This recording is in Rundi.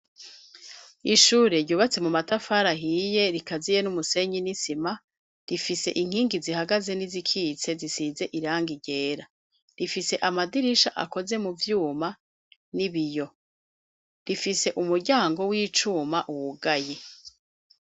Ishure ryubatse mu matafari ahiye rikaziye n'umusenyi nisima rifise inkingi zihagaze n'izikitse zisize irangi ryera rifise amadirisha akoze mu vyuma n'ibiyo rifise umuryango w'icuma wugaye.